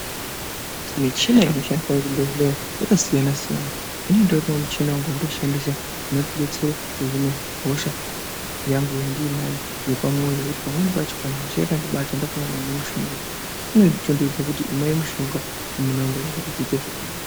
Michina inoshandiswa kuzvibhendleya yakasiyana siyana. Inini nditori wo nawo muchina wangu wandinoshandisa unondidetsera kuhine hosha yangu yandinayo yepamwoyo. Pamweni pacho kana hosha yakandibata ndakanganwa kumwa mushonga inotondidetsa kuti imwai mushonga amuna woyee kuti zviite zvakanaka.